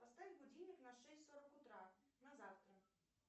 поставь будильник на шесть сорок утра на завтра